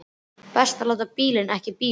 Best að láta bílinn ekki bíða!